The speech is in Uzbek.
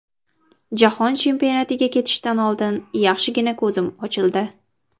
Jahon chempionatiga ketishdan oldin yaxshigina ko‘zim ochildi.